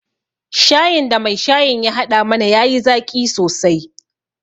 Shayin da mai shayin ya haɗa mana ya yi zaƙi sosai